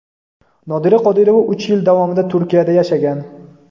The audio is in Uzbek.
Nodira Qodirova uch yil davomida Turkiyada yashagan.